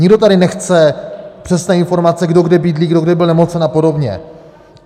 Nikdo tady nechce přesné informace, kdo kde bydlí, kdo kdy byl nemocen a podobně.